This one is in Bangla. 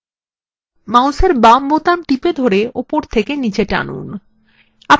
মাউসের বাম button টিপে ধরে উপর থেকে নীচে টানুন